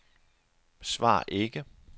svar ikke